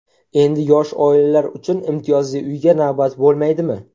Endi yosh oilalar uchun imtiyozli uyga navbat bo‘lmaydimi?.